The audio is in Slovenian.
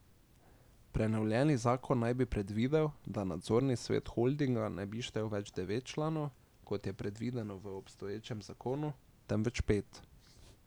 Prenovljeni zakon naj bi predvidel, da nadzorni svet holdinga ne bi več štel devet članov, kot je predvideno v obstoječem zakonu, temveč pet.